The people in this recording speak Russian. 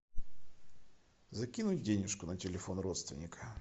закинуть денюжку на телефон родственника